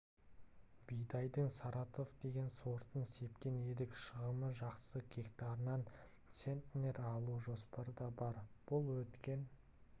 бидайдың саратов деген сортын сепкен едік шығымы жақсы гектарынан центнер алу жоспарда бар бұл өткен